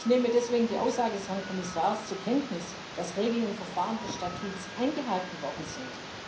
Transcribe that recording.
Ich nehme deswegen die Aussage des Herrn Kommissars zur Kenntnis, dass die Regeln und Verfahren des Statuts eingehalten worden sind.